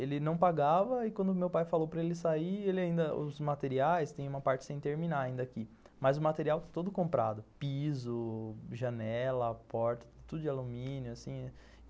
Ele não pagava e quando meu pai falou para ele sair, os materiais, tem uma parte sem terminar ainda aqui, mas o material todo comprado, piso, janela, porta, tudo de alumínio, assim